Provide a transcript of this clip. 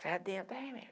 Senhora